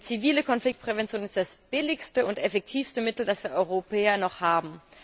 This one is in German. Denn zivile Konfliktprävention ist das billigste und effektivste Mittel, das wir Europäer noch haben.